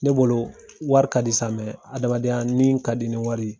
Ne bolo wari ka di sa , adamadenya ni ka di ni wari ye.